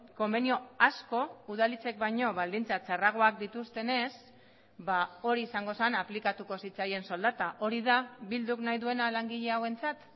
konbenio asko udalhitzek baino baldintza txarragoak dituztenez hori izango zen aplikatuko zitzaien soldata hori da bilduk nahi duena langile hauentzat